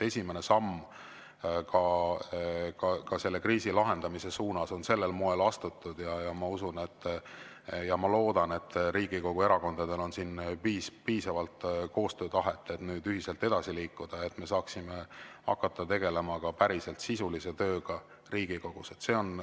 Esimene samm selle kriisi lahendamise suunas on sel moel astutud ja ma usun ja ma loodan, et Riigikogu erakondadel on piisavalt koostöötahet, et ühiselt edasi liikuda, et me saaksime hakata tegelema ka päriselt sisulise tööga Riigikogus.